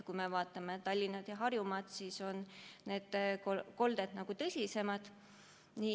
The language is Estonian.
Kui me vaatame Tallinna ja muud Harjumaad, siis on need kolded tõsisemad.